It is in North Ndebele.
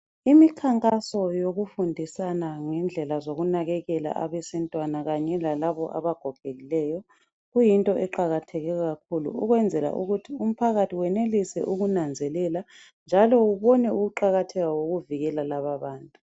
Imikhankaso yokufundisana ngendlela zokunakekela abesintwana kanye lalaba abagogekileyo kuyinto eqakatheke kakhulu ukwenzela ukuthi umphakathi wenelise ukunanzelela njalo ubone ukuqakatheka kokuvikela laba abantu.